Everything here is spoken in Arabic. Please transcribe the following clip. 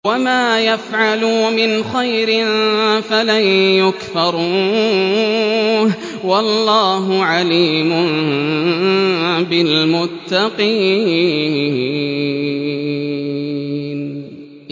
وَمَا يَفْعَلُوا مِنْ خَيْرٍ فَلَن يُكْفَرُوهُ ۗ وَاللَّهُ عَلِيمٌ بِالْمُتَّقِينَ